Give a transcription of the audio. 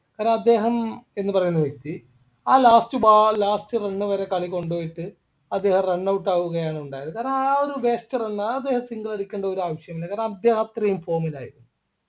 കാരണം അദ്ദേഹം എന്ന് പറയുന്ന വ്യക്തി ആ last ball last run വരെ കളി കൊണ്ടോയിട്ട് അതിൽ run out ആവുകയാണ് ഉണ്ടായത് കാരണം ആ ഒരു gester ന്നാ അത് single അടിക്കേണ്ട ഒരു ആവശ്യമില്ല കാരണം അദ്ദേഹം അത്രേം form ൽ ആയിരുന്നു